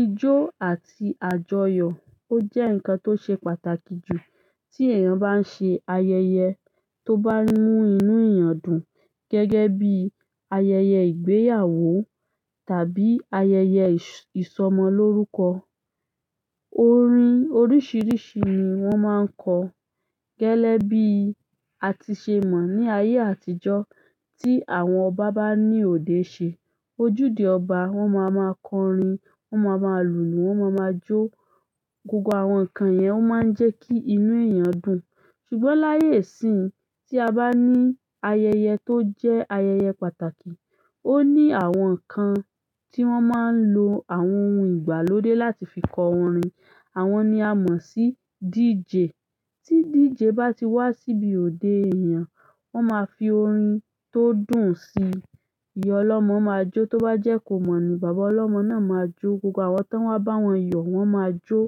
Ìjó àti àjọyọ̀ ó jẹ́ ǹkan tó ṣe pàtàkì jù tí èèyàn bá ń ṣe ayẹyẹ tó bá ń mú inú èèyàn dùn gẹ́gẹ́ bí ayẹyẹ ìgbéyàwó tàbí ayẹyẹ ìsọmọlórúkọ. Orin oríṣiríṣi ni wọ́n máa ń kọ. Gẹ́lẹ́bí àtisẹ̀ mọ̀ ní ayé àtijọ́ tí àwọn ọba bá ní òde ṣe, ojúde ọba wọ́n máa ma kọ orin, wọ́n máa ma lùlù, wọ́n máa ma jó. Gbogbo àwọn nǹkan yẹn ó máa ń jẹ́ kí inú èèyàn dùn. Ṣùgbọ́n láyé ìsín, tí a bá ní ayẹyẹ tó jẹ́ ayẹyẹ pàtàkì, ó ní àwọn nǹkan tí wọ́n máa ń lo àwọn ohun ìgbàlódé láti fi kọ orin. Àwọn ni a mọ̀ sí DJ. Tí DJ bá ti wá síbi òde ènìyàn, wọ́n máa fi orin tó dùn si. Ìyá ọlọ́mọ máa jó. Tó bá jẹ́ kò mọ̀ ni, bàbá ọlọ́mọ náà máa jó. Gbogbo àwọn tí wọ́n bá wọn yọ̀ wọ́n máa jó.